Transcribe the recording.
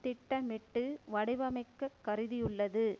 திட்டமிட்டு வடிவமைக்க கருதியுள்ளது